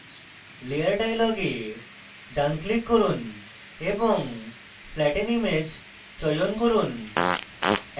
layer dialog এ ডান click করুন এবং flatten image চয়ন করুন